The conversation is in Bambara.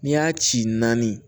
N'i y'a ci naani